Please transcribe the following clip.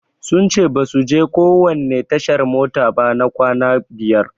Sun ce basu je kowanne tashar mota ba na kwana biyar.